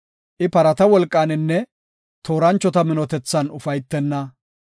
I parata wolqaninne tooranchota minotethan ufaytenna.